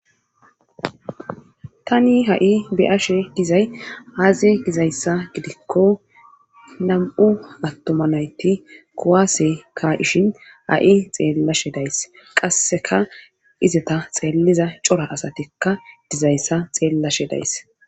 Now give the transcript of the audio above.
Tani ha7i beyashe dizay aaze gizayssa gidikko nam7u attomanayti kowaase ka ishin a7i xeellashe days qasseka izeta xeelliza cora asatikka dizayssa xeellashe days